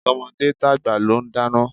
Tọmọdé tàgbà ló ń dáná.